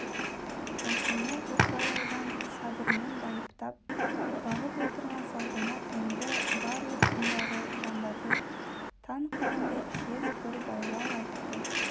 осыны бірталайдан сабырмен байыптап бағып отырған салтанат енді барлық бұндағы жандарды таң қылғандай тез бір байлау айтты